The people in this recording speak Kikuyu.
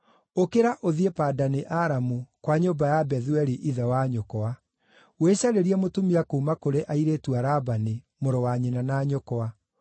Ũkĩra ũthiĩ Padani-Aramu, kwa nyũmba ya Bethueli ithe wa nyũkwa. Wĩcarĩrie mũtumia kuuma kũrĩ airĩtu a Labani, mũrũ wa nyina na nyũkwa.